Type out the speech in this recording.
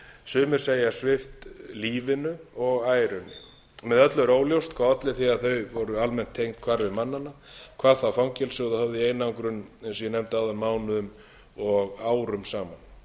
sumir segja svipt lífinu og ærunni með öllu er óljóst hvað olli því að þau voru almennt tengd hvarfi mannanna hvað þá fangelsuð og höfð í einangrun eins og ég nefndi áðan mánuðum og árum saman